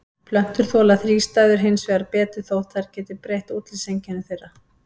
Plöntur þola þrístæður hins vegar betur þótt þær geti breytt útlitseinkennum þeirra.